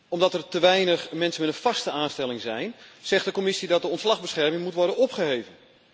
Omdat er te weinig mensen met een vaste aanstelling zijn, zegt de Commissie dat de ontslagbescherming moet worden opgeheven.